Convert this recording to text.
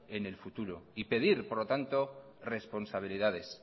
en el futuro y pedir por lo tanto responsabilidades